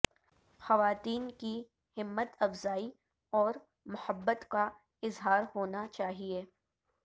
خواتین کی ہمت افزائی اور محبت کا اظہار ہونا چاہیے